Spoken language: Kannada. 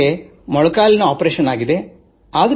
ನಾನು ನನ್ನ ಮೊಣಗಾಲಿನ ಶಸ್ತ್ರಚಿಕಿತ್ಸೆ ಮಾಡಿಸಿಕೊಂಡಿದ್ದೇನೆ